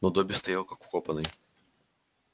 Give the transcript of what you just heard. но добби стоял как вкопанный